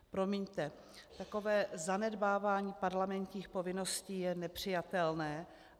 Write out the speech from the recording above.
Promiňte, takové zanedbávání parlamentních povinností je nepřijatelné.